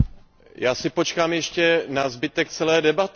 Já si počkám ještě na zbytek celé debaty.